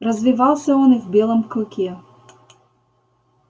развивался он и в белом клыке